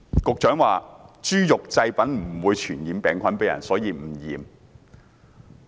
局長說豬肉製品不會傳染病菌給人類，所以無須檢驗。